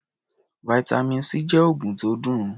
Vitamin C jẹ́ oògùn tó dùn.